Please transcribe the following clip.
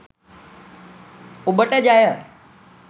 ඔබට ජය!